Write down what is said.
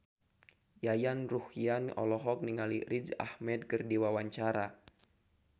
Yayan Ruhlan olohok ningali Riz Ahmed keur diwawancara